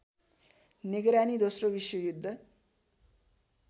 निगरानी दोश्रो विश्वयुद्ध